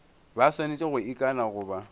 ba swanetše go ikana goba